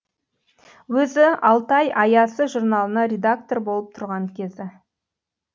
өзі алтай аясы журналына редактор болып тұрған кезі